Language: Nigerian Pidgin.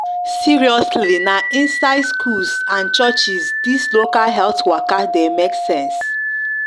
seriously na inside schools and churches dis local health waka de make sense